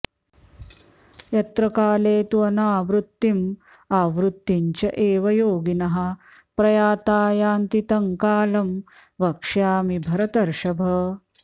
यत्र काले तु अनावृत्तिम् आवृत्तिं च एव योगिनः प्रयाता यान्ति तं कालं वक्ष्यामि भरतर्षभ